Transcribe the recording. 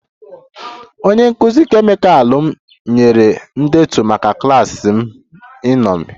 Onye nkụzi kemịkal m nyere ndetu maka klas m iṅomi